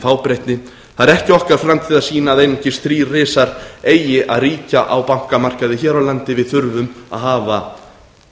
fábreytni það er ekki okkar framtíðarsýn að einungis þrír risar eigi að ríkja á bankamarkaði hér á landi við þurfum að hafa